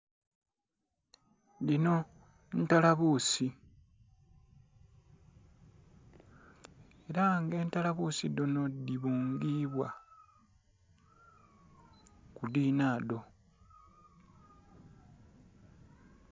Dhinho, ntalabuusi, ela nga entalabuusi dhinho dhibungiibwa ku dhinhadho.